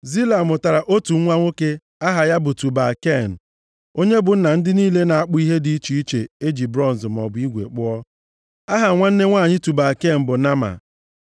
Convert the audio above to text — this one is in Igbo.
Zila, mụtara otu nwa nwoke aha ya bụ Tubal Ken, onye bụ nna ndị niile na-akpụ ihe dị iche iche e ji bronz maọbụ igwe kpụọ. Aha nwanne nwanyị Tubal Ken bụ Naama.